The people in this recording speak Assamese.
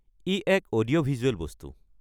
ই এক অডিঅ'-ভিজুৱেল বস্তু।